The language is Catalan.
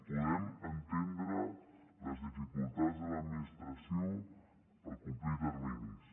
podem entendre les dificultats de l’administració per complir terminis